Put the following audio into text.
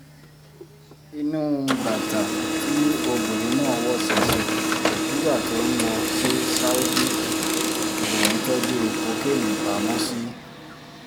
inú bàtà tí obìnrin náà wọ̀ ṣẹ̀ṣẹ̀ nígbà tó ń lọ sí saudi lòun tọ́jú kokéènì pamọ́ sí